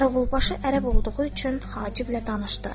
Qaravulbaşı ərəb olduğu üçün Haciblə danışdı.